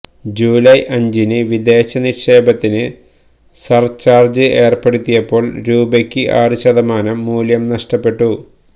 July അഞ്ചിന് വിദേശ നിക്ഷേപത്തിന് സര്ചാര്ജ് ഏര്പ്പെടുത്തിയപ്പോള് രൂപയ്ക്ക് ആറു ശതമാനം മൂല്യം നഷ്ടപ്പെട്ടു